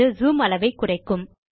இது ஜூம் அளவை குறைக்கும்